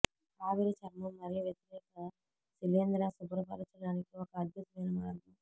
ఆవిరి చర్మం మరియు వ్యతిరేక శిలీంధ్ర శుభ్రపరచడానికి ఒక అద్భుతమైన మార్గం